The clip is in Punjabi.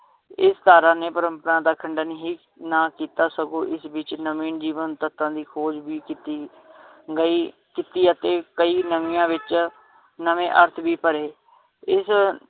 ਇਸ ਧਾਰਾਂ ਨੇ ਪ੍ਰੰਪਰਾ ਦਾ ਖੰਡਨ ਹੀ ਨਾ ਕੀਤਾ ਸਗੋਂ ਇਸ ਵਿਚ ਨਵੇਂ ਜੀਵਨ ਤਥਾਂ ਦੀ ਖੋਜ ਵੀ ਕੀਤੀ ਗਈ ਕੀਤੀ ਅਤੇ ਕਈ ਨਵੀਆਂ ਵਿਚ ਨਵੇਂ ਅਰਥ ਵੀ ਭਰੇ ਇਸ